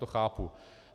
To chápu.